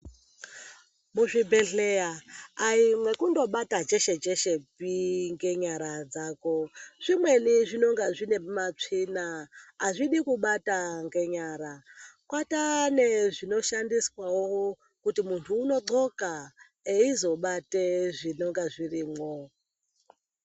Muzvibhedhleya ai mwekundobata cheshe cheshe pi ngenyara dzako zvimweni zvinonga zviine matsvina hazvidi kubata ngenyara. Kwataane zvinoshandiswawo kuti muntu unondxoka eizobate zvinonga zvirimwo.